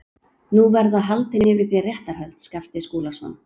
Nú verða haldin yfir þér réttarhöld, Skapti Skúlason.